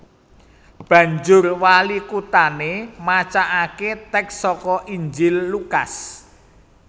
Banjur walikuthané macakaké tèks saka Injil Lukas